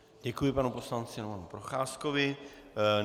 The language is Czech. Děkuji panu poslanci Romanu Procházkovi.